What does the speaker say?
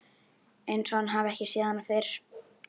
Einsog hann hafi ekki séð hana fyrr.